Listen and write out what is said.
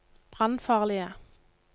brannfarlige